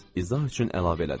İzah üçün əlavə elədi.